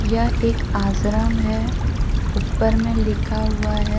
यह एक आसरम है। ऊपर में लिखा हुआ है।